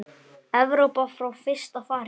Evrópu frá fyrsta fari.